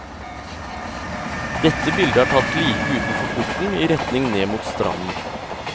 Dette bildet er tatt like utenfor porten, i retning ned mot stranden.